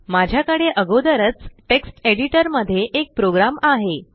माझ्याकडे आगोदरच text editor मध्ये एक प्रोग्राम आहे